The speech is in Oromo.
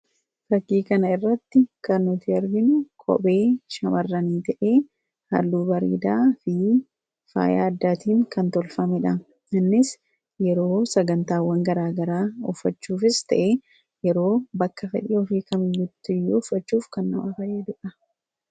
Fakii kana irratti kan arginu kophee Shamarranii ta'ee halluu bareedaa fi faaya garagaraan kan tolfame innis yeroo sagantaa garagaraa uffachuufis ta'ee yeroo fedhii ofii uffachuuf kan nu gargaarudha.